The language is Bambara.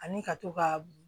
Ani ka to ka